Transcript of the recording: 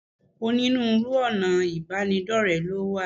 Onírúurú ọ̀nà ìbánidọ́rẹ̀ẹ́ ló wà.